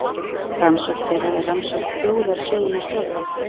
Rannsókn þeirra er rannsókn þjóðarsögunnar sjálfrar.